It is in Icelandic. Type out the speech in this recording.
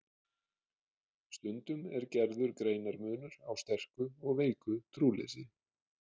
Stundum er gerður greinarmunur á sterku og veiku trúleysi.